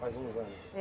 Faz uns anos.